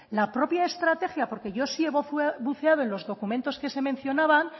la propia estrategia porque yo sí he buceado en los documentos que se mencionaban